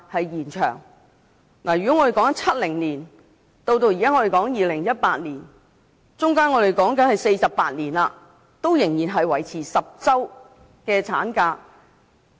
由1970年到現在2018年，經歷了48年，產假仍然維持在10個星期。